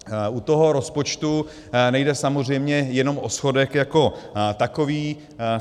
U toho rozpočtu nejde samozřejmě jenom o schodek jako takový.